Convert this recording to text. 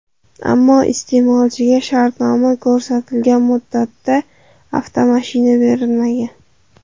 Ammo iste’molchiga shartnomada ko‘rsatilgan muddatda avtomashina berilmagan.